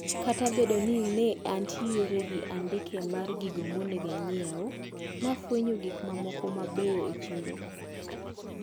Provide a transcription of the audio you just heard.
Kata obedo ni ne antiere gi andike mar gigo monego anyieu, nafwenyo gik mamoko mabeyo e chiro.